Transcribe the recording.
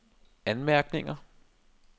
anmærkninger